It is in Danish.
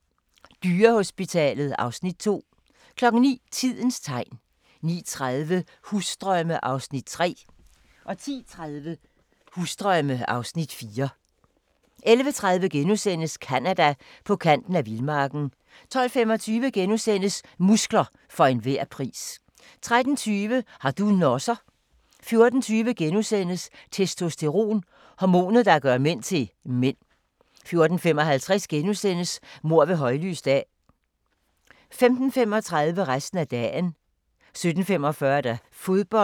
08:00: Dyrehospitalet (Afs. 2) 09:00: Tidens Tegn 09:30: Husdrømme (Afs. 3) 10:30: Husdrømme (Afs. 4) 11:30: Canada: På kanten af vildmarken * 12:25: Muskler for enhver pris * 13:20: Har du nosser? * 14:20: Testosteron - hormonet, der gør mænd til mænd * 14:55: Mord ved højlys dag * 15:35: Resten af dagen